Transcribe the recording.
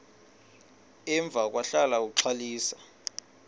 emva kwahlala uxalisa